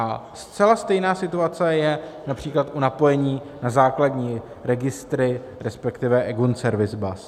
A zcela stejná situace je například u napojení na základní registry, respektive eGON Service Bus.